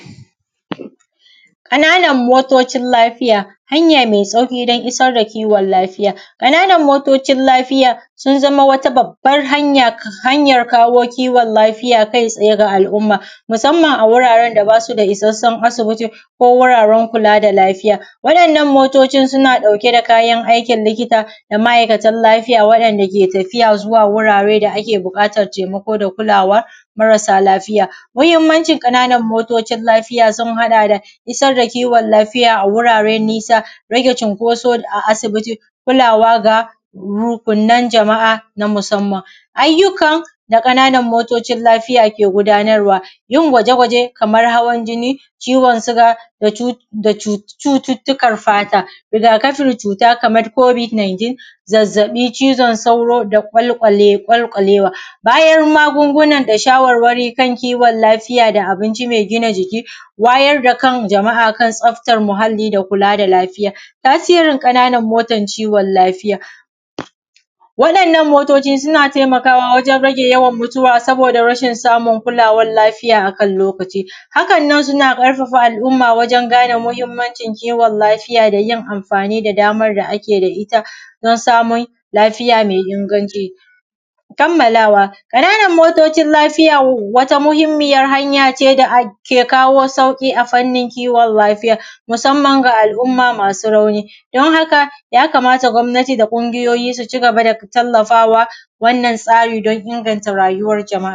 Ƙananan motocin lafiya, hanya mai sauƙi wajen isar da kiwon lafiya. Ƙananan motocin lafiya sun zama wata babban hanyar kawo kiwaon lafiya kai tsaye ga al’umma, musamman a wuraren da bas u da isassun asibiti, ko wuraren kula da lafiya. Waɗannan motocin suna ɗauke da kayan aikin likta, da ma’aikatan lafiya waɗanda ke tafiya zuwa wurare da ake buƙatan taimako da kulawa marasa lafiya. Muhimmancin motocin lafiya, sun haɗa da isar da kiwon lafiya a wurare nisa, rage cinkoso a asibiti, kulawa ga rukunan jama’a na musamman. Ayyukan da Ƙananan motocin lafiya ke gudanarwa, yin gwaje-gwaje kamar hawan jinni, ciwon siga da cu da cu da cututtukan fata. Rigakafin cuta kamar Covid 19, zazzaɓi, cizon sauro, da ƙawl da ƙwalƙwalewa. Bayan magunguna da shawarwari kan kiwon lafiya da abinci mai gina jiki, wayar da kan jama’a a kan tsaftar muhalli da kula da lafiya. Tasirin ƙananan motan ciwon lafiya, waɗannan motoci suna taimakawa wajen rage yawan mutuwa saboda rashin samun kulawan lafiya a kan lokaci. Hakan nan suna ƙarfafa al’umma wajen gane muhimmancin kiwon lafiya da yin amfani da damar da ake da ita, on samun lafiya mai inganci. Kammalawa ƙananan motocin lafiya wata muhimmiya hanya ce da ke kawo sauƙi a fannin kiwon lafiya, musamman ga al’umma masu rauni, don haka yakamata gwamnati da ƙungiyoyi su cigaba da tallafawa. Wannan tsari don inganta rayuwar jama’a.